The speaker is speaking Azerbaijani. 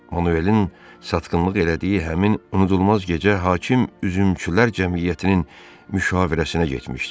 Manuelin satqınlıq elədiyi həmin unudulmaz gecə hakim üzümçülər cəmiyyətinin müşavirəsinə getmişdi.